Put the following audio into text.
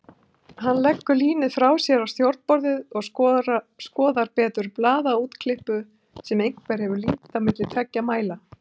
Hann leggur línið frá sér á stjórnborðið og skoðar betur blaðaúrklippu sem einhver hefur límt á milli tveggja mæla.